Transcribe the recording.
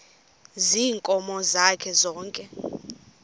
ziinkomo zakhe zonke